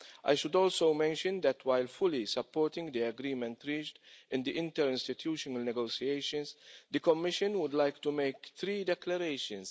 I should also mention that, while fully supporting the agreement reached in the interinstitutional negotiations, the Commission would like to make three declarations.